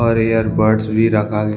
और ear buds भी रखा--